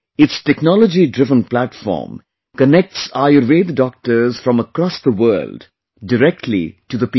Its technologydriven platform connects Ayurveda Doctors from across the world directly to the people